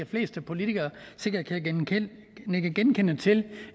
fleste politikere sikkert kan nikke genkendende til